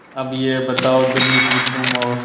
अब यह बताओ धनी कि तुम और